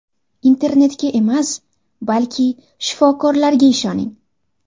Internetga emas, balki shifokorlarga ishoning!